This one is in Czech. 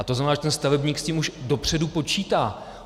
A to znamená, že ten stavebník s tím už dopředu počítá.